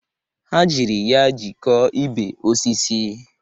Ha jiri ya jikọọ ibe osisi.